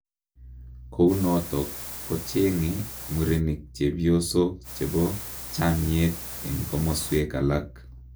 Kounotok kocheng'e murenik chepyosok chepo chamnyeet eng komoswek alaak.